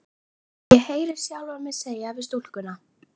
Og ég heyri sjálfa mig segja við stúlkuna